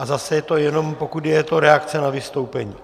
A zase je to jenom, pokud je to reakce na vystoupení.